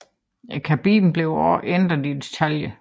Kabinen blev også ændret i detaljer